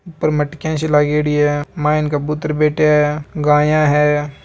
ऊपर मटकिया सी लागेड़ी है मांय कबूतर बैठा हैं गाया है।